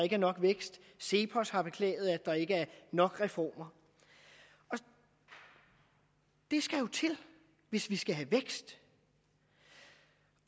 ikke er nok vækst cepos har beklaget at der ikke er nok reformer og det skal jo til hvis vi skal have vækst